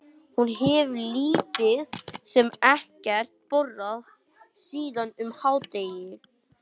Hún hefur lítið sem ekkert borðað síðan um hádegi.